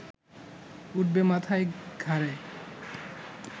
উঠবে মাথায়, ঘাড়ে